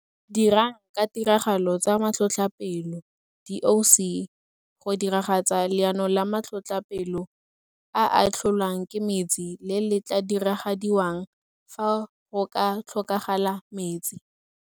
Dirang ka tiragalo tsa Matlhotlhapelo DOC go diragatsa Leano la Matlhotlhapelo a a tlholwang ke Metsi le le tla diragadiwang fa go ka tlhokagala Metsi.